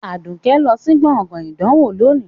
Aduke lọ sí gbọ̀ngàn ìdánwò lónìí